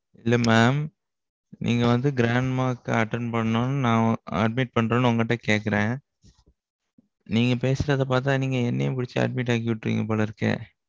இல்ல mam. நீங்க வந்து grandma க்கு attend பண்ணனும்னு நான் admit பண்றறேன் உங்ககிட்ட கேக்குறேன். நீங்க பேசுறத பாத்தா நீங்க என்னையும் பிடிச்சு admit ஆக்கி உட்றுவீங்க போல இருக்கே?